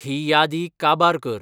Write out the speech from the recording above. ही यादी काबार कर